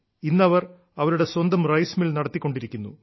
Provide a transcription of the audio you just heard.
ഇന്നവർ അവരുടെ സ്വന്തം rice mill നടത്തിക്കൊണ്ടിരിക്കുന്നു